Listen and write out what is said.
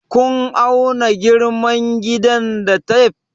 Kun auna girman gidan da tef?